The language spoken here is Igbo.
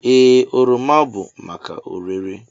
Ee, oroma bụ maka ọrere.